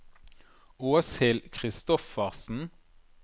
Åshild Christoffersen